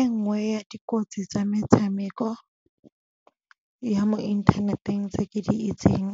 E nngwe ya dikotsi tsa metshameko ya mo inthaneteng tse ke di itseng